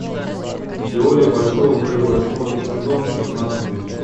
теория большого взрыва восьмой сезон пятнадцатый эпизод